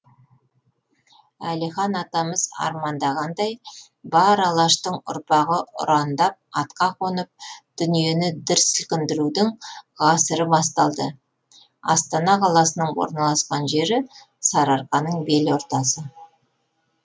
әлихан атамыз армандағандай бар алаштың ұрпағы ұрандап атқа қонып дүниені дүр сілкіндірудің ғасыры басталды астана қаласының орналасқан жері сарыарқаның бел ортасы